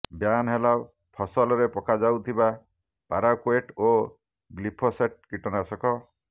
ban ହେଲା ଫସଲରେ ପକାଯାଉଥିବା ପାରାକ୍ବେଟ୍ ଓ ଗ୍ଲିଫୋସେଟ୍ କୀଟନାଶକ